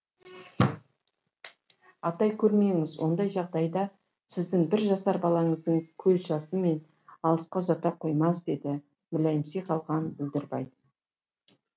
атай көрмеңіз ондай жағдайда сіздің бір жасар балаңыздың көз жасы мені алысқа ұзата қоймас деді мүләйімси қалған бүлдірбай